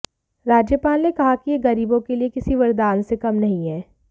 राज्यपाल ने कहा कि यह गरीबों के लिए किसी वरदान से कम नहीं है